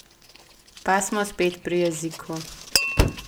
Pa smo spet pri jeziku.